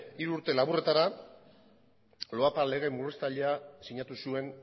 hiru urte laburretara loapa lege murriztailea sinatu zuen